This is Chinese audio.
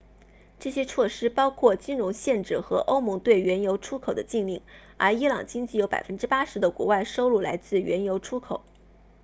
这些措施包括金融限制和欧盟对原油出口的禁令而伊朗经济有 80% 的国外收入来自原油出口